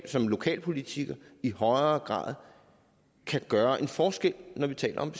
som lokalpolitiker i højere grad kan gøre en forskel når vi taler om